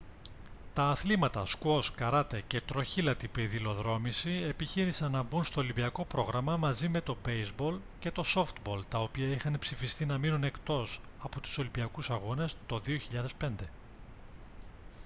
τα αθλήματα σκουός καράτε και τροχήλατη πεδιλοδρόμηση επιχείρησαν να μπουν στο ολυμπιακό πρόγραμμα μαζί με το μπέηζμπολ και το σόφτμπολ τα οποία είχαν ψηφιστεί να μείνουν εκτός από τους ολυμπιακούς αγώνες το 2005